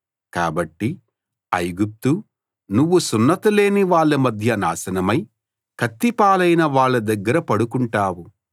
కాబట్టి ఐగుప్తు నువ్వు సున్నతి లేని వాళ్ళ మధ్య నాశనమై కత్తి పాలైన వాళ్ళ దగ్గర పడుకుంటావు